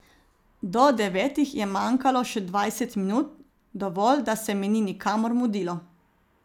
Do devetih je manjkalo še dvajset minut, dovolj, da se mi ni nikamor mudilo.